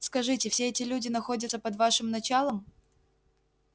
скажите все эти люди находятся под вашим началом